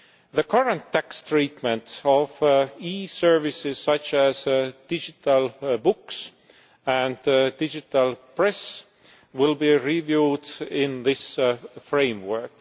The current tax treatment of e-services, such as digital books and the digital press, will be reviewed in this framework.